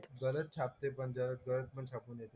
गलत छापते पण जर करेक्ट पण छापून येते.